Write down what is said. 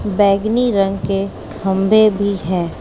बैगनी रंग के खंभे भी है।